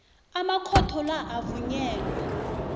amakhotho la avunyelwe